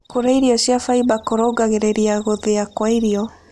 Kũrĩa irio cia faĩba kũrũngagĩrĩrĩa gũthĩa kwa irio